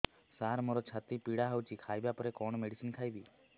ସାର ମୋର ଛାତି ପୀଡା ହଉଚି ଖାଇବା ପରେ କଣ ମେଡିସିନ ଖାଇବି